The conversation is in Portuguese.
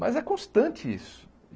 Mas é constante isso.